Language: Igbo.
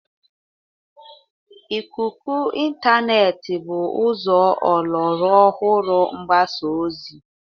Ikuku Ịntaanet bụ ụzọ ọlọrụ ọhụrụ mgbasa ozi.